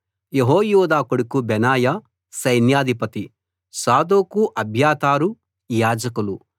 యెహోయాదా కొడుకు బెనాయా సైన్యాధిపతి సాదోకు అబ్యాతారు యాజకులు